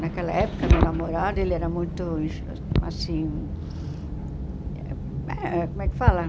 Naquela época, meu namorado ele era muito, assim eh... Como é que fala?